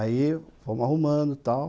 Aí, fomos arrumando e tal.